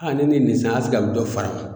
ne ye nin san dɔ fara